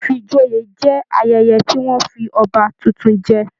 Ifíjòyè jẹ ayẹyẹ tí wọn fí ọba títún jẹ.